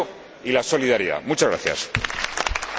Dziękuję panu premierowi za wystąpienie.